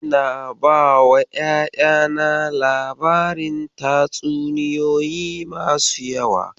Ina bawa ƴaƴana labarin tatsuniyoyi da yawa.